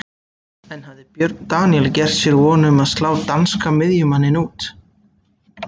En hafði Björn Daníel gert sér von um að slá danska miðjumanninn út?